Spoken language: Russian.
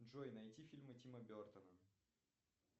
джой найти фильмы тима бертона